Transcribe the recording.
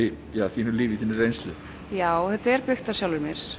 þínu lífi þinni reynslu já þetta er byggt á sjálfri mér